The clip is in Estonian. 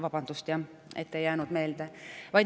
Vabandust, et ei jäänud meelde.